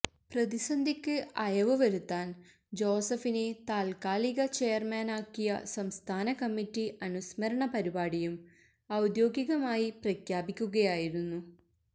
പ്രതിസന്ധിക്ക് അയവു വരുത്താന് ജോസഫിനെ താത്ക്കാലിക ചെയര്മാനാക്കിയ സംസ്ഥാന കമ്മിറ്റി അനുസ്മരണ പരിപാടിയും ഔദ്യോഗികമായി പ്രഖ്യാപിക്കുകയായിരുന്നു